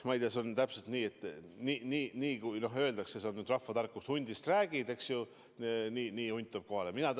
Ma ei tea, see on täpselt nii, nagu rahvatarkus ütleb: kus hundist räägid, sinna hunt tuleb kohale.